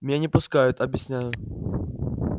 меня не пускают объясняю